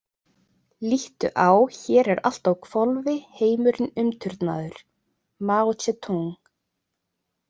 Líttu á hér er allt á hvolfi heimurinn umturnaður Maó Tse-Túng .